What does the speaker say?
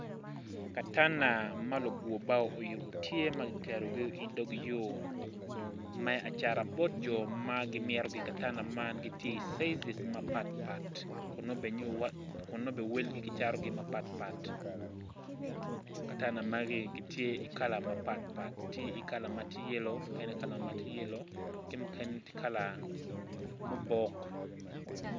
Katanda ma lugur bao guyubo tye i dog pii nam yeya tye mapol i nam acel tye i nam i ngeye pol nen mabule katanda magi gitye i kala mapatpat mukene tye yelo mukene tye kala mubok.